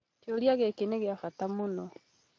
kĩũria gĩkĩ nĩ kĩa bata mũno